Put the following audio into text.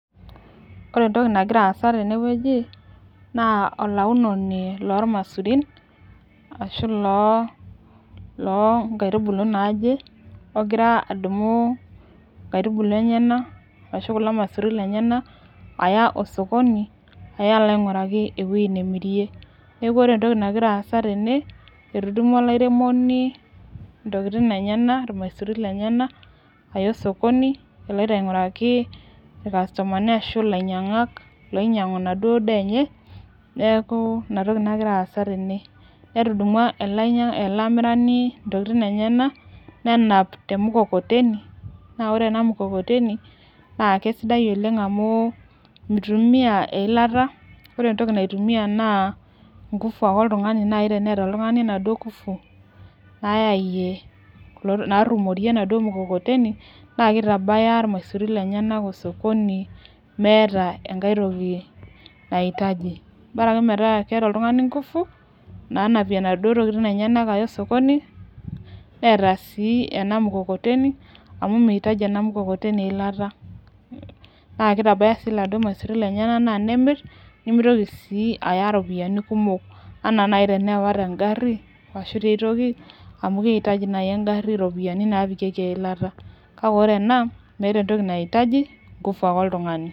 ore entoki nangira asa tene weuji na olaunono o masurun ashu lo lonkaitubulu naje ongira adumu inkaitubulu naje ongira adumu inkaitubulu enyana ashu kulo masurin lenyena, aya osokoni aya alo oinguraki eweuji namirie, niaku ore entoki nangira asa tene na etudumua olairemoni intokitin enyana ilmasurin lenyena, aya osokoni eleoito ainguraki, inkasotomani ashu ilanyiangak, loinyiangu enaduo daa enye, niaku inatoki nangira asa tene, netudumua ele amirani intokitin enyana nenap temkokoteni, na ore ena mkokoteni na kisidai oleng amu, mitumia eilata ore entoki naitumia na nguvu ake oltungani, nai teneta oladuo tungani inaduo ngufu, nayai narumorie enaduo mkokoteni, na kitabaya ilmasurin lenyena osokoni meeta entoki enkae toki naitaji, bora ake meeta keeta oltungani inkufu, nanapie inaduo tokitin enyana aya osokoni, neta si ena mkokoteni amu meitaji ena mkokoteni eilata, na kitabaya si iladuo masurin lenyana na nemir, nimitoki si aya iropiani kumok ena naji tenewa te ngari ashu tiaitoki amu keitaji naji engari iropiani napikieki eilata, kake ore ena meeta naji entoki naitaji ingufu ake oltungani.